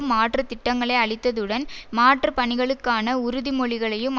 மாற்று திட்டங்களை அளித்ததுடன் மாற்று பணிகளுக்கான உறுதிமொழிகளையும்